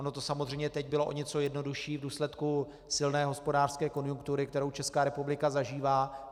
Ono to samozřejmě teď bylo o něco jednodušší v důsledku silné hospodářské konjunktury, kterou Česká republika zažívá.